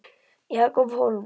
Jakob Hólm